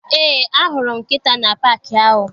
Eé, ahụrụ m nkịta na paakị ahụ.